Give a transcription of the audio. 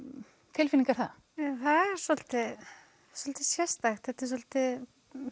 tilfinning er það það er svolítið sérstakt þetta er svolítið